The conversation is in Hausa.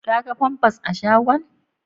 Ka ga famfas a shagon?